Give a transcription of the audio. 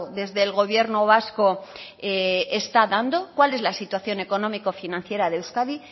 desde el gobierno vasco está dando cuál es la situación económico financiera de euskadi